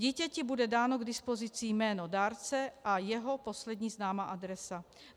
Dítěti bude dáno k dispozici jméno dárce a jeho poslední známá adresa.